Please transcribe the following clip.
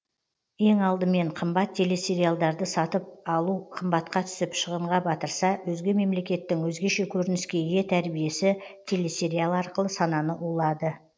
ең алдымен қымбат телесериалдарды сатып алу қымбатқа түсіп шығынға батырса өзге мемлекеттің өзгеше көрініске ие тәрбиесі телесериал арқылы сананы улады